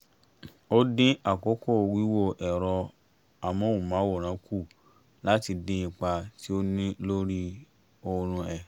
ó dín àkókò wíwo ẹ̀rọ amóhùnmáwòrán kù láti dín ipa tí ó ń ní lórí oorun ẹ̀